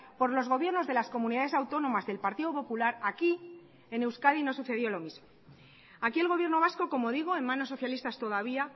por los gobiernos de las comunidades autónomas del partido popular aquí en euskadi no sucedió lo mismo aquí el gobierno vasco como digo en manos socialistas todavía